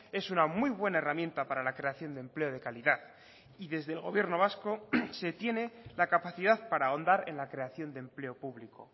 es una muy buena herramienta para la creación de empleo de calidad y desde el gobierno vasco se tiene la capacidad para ahondar en la creación de empleo público